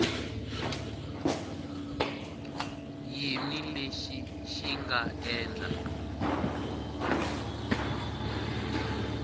yini lexi xi nga endla